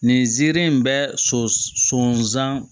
Nin ziiri in bɛ son s sonsan